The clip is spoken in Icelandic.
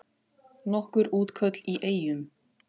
Nokkur útköll í Eyjum